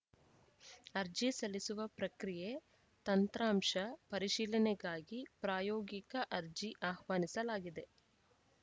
ಅರ್ಜಿ ಸಲ್ಲಿಸುವ ಪ್ರಕ್ರಿಯೆ ತಂತ್ರಾಂಶ ಪರಿಶೀಲನೆಗಾಗಿ ಪ್ರಾಯೋಗಿಕ ಅರ್ಜಿ ಆಹ್ವಾನಿಸಲಾಗಿದೆ